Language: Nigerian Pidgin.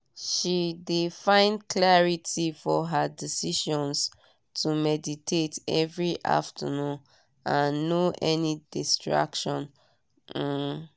she de find clarity for her decisions to meditate every afternoon and no any distraction. um